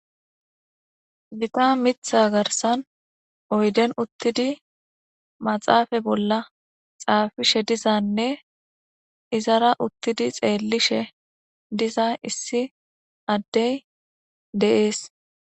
miqa mitha garsan oyden uttidi maxaafa bolla xaafishe dizanne izara uttidi xeellishe diza issi addey deees